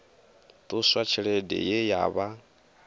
ṱuswa tshelede ye ya vha